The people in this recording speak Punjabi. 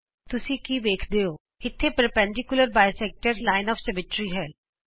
ਤੁਸੀਂ ਕੀ ਵੇਖਦੇ ਹੈ ਇਥੇ ਲੰਬ ਦੋਭਾਜਕ ਰੇਖਾ ਸਮਮਿਤੀ ਹੈ